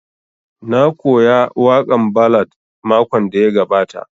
Na koya waƙan ballad makon da ya gabata